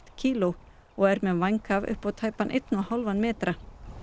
kíló og hefur vænghaf upp á tæpan einn og hálfan metra